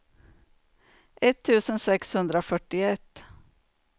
etttusen sexhundrafyrtioett